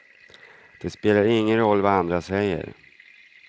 Det spelar ingen roll vad andra säger.